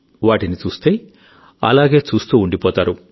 వాటిని చూస్తే అలాగే చూస్తూ ఉండిపోతారు